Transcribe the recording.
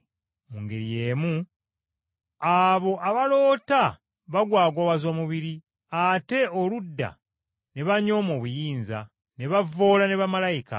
Mu ngeri y’emu abo abaloota bagwagwawaza omubiri, ate oludda ne banyooma obuyinza, ne bavvoola ne bamalayika.